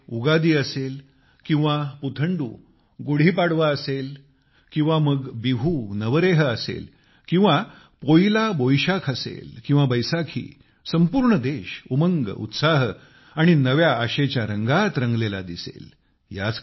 मग ते उगादी असेल किंवा पुथंडू गुढी पाडवा असेल किंवा मग बिहू नवरेह असेल किंवा पोइला किंवा मग बोईशाख असेल किंवा बैसाखी संपूर्ण देश उमंग उत्साह आणि नव्या आशेच्या रंगात रंगलेला दिसेल